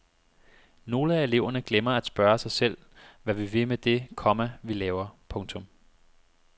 Nogle af eleverne glemmer at spørge sig selv hvad vi vil med det, komma vi laver. punktum